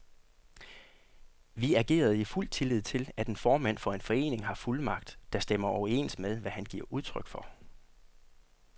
Vi agerede i fuld tillid til, at en formand for en forening har fuldmagt, der stemmer overens med, hvad han giver udtryk for.